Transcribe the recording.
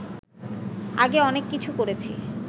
আগে অনেক কিছু করেছি